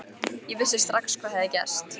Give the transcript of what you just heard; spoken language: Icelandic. Ég vissi strax hvað hafði gerst.